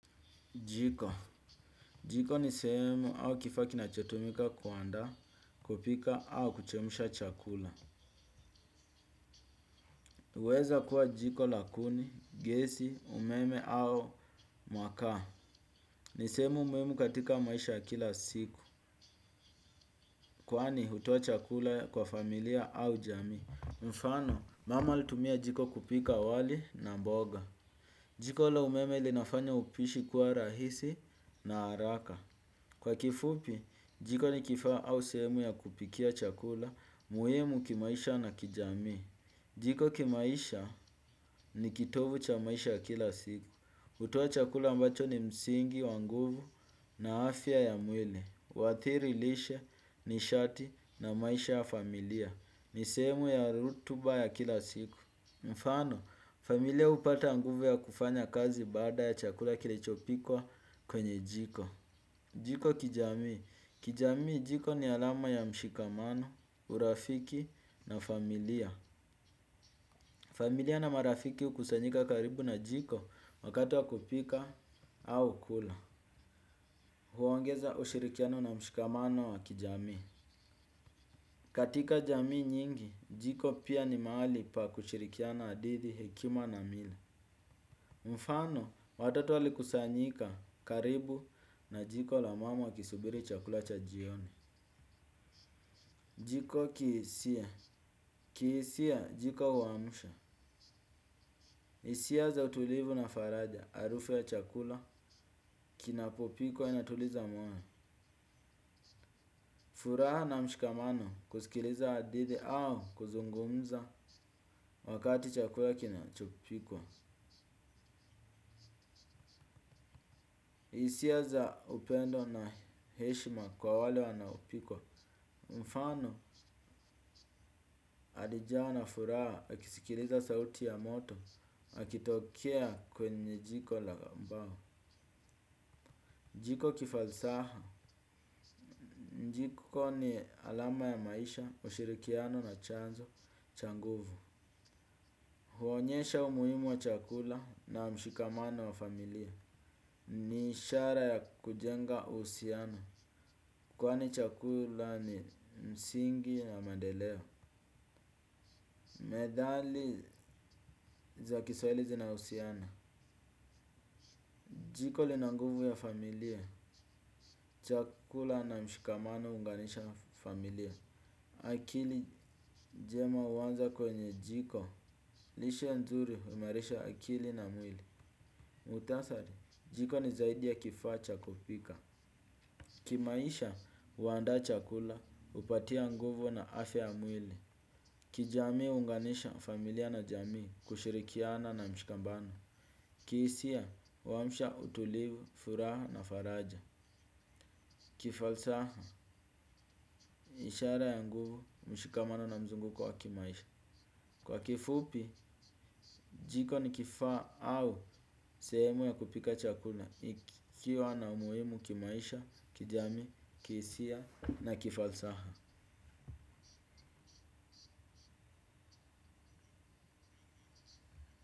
Jiko. Jiko ni sehemu au kifaa kinachotumika kuandaa, kupika au kuchemsha chakula. Huweza kuwa jiko la kuni, gesi, umeme au makaa. Ni sehemu muhimu katika maisha ya kila siku. Kwani hutoa chakula kwa familia au jamii. Mfano, mama alitumia jiko kupika wali na mboga. Jiko la umeme linafanya upishi kuwa rahisi na haraka. Kwa kifupi, jiko ni kifaa au sehemu ya kupikia chakula, muhimu kimaisha na kijamii. Jiko kimaisha ni kitovu cha maisha ya kila siku. Hutoa chakula ambacho ni msingi, wa nguvu na afya ya mwili. Huathiri lishe nishati na maisha ya familia. Ni sehemu ya rutuba ya kila siku. Mfano, familia hupata nguvu ya kufanya kazi baada ya chakula kilichopikwa kwenye jiko. Jiko kijamii. Kijamii jiko ni alama ya mshikamano, urafiki na familia. Familia na marafiki hukusanyika karibu na jiko wakati wa kupika au kula. Huongeza ushirikiano na mshikamano wa kijamii. Katika jamii nyingi, jiko pia ni mahali pa kushirikiana hadithi hekima na miili. Mfano, watoto walikusanyika karibu na jiko la mama wakisubiri chakula cha jioni. Jiko kihisia, kihisia jiko huamsha. Hisia za utulivu na faraja, harufu ya chakula, kinapopikwa inatuliza moyo. Furaha na mshikamano kusikiliza hadidhi au kuzungumza wakati chakula kinachopikwa. Hisia za upendo na heshima kwa wale wanaopikwa. Mfano alijawa na furaha, akisikiliza sauti ya moto, akitokea kwenye jiko la mbao. Niko kifalsaha. Jiko ni alama ya maisha, ushirikiano na chanzo cha nguvu. Huonyesha umuhimu wa chakula na mshikamano wa familia. Ni ishara ya kujenga uhusiano. Kwani chakula ni msingi na maendeleo. Methali za kiswahili zinahusiana. Jiko linanguvu ya familia. Chakula na mshikamano huunganisha familia. Akili njema huanza kwenye jiko. Lishe nzuri huimarisha akili na mwili. Muktasari jiko ni zaidi ya kifaa cha kupika. Kimaisha uandaa chakula hupatia nguvu na afya ya mwili. Kijamii huunganisha familia na jamii kushirikiana na mshikamano. Kihisia huamsha utulivu, furaha na faraja. Kifalsaha ishara ya nguvu mshikamano na mzunguko wa kimaisha. Kwa kifupi, jiko ni kifaa au sehemu ya kupika chakula ikiwa na umuhimu kimaisha, kijamii, kihisia na kifalsaha.